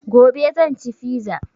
Gobe zan ci fiza